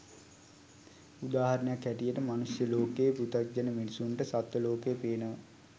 උදාහරණයක් හැටියට මනුෂ්‍ය ලෝකේ පෘතග්ජන මිනිස්සුන්ට සත්ව ලෝකය පේනවා